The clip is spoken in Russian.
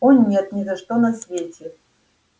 о нет ни за что на свете